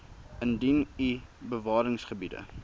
indien u bewaringsgebiede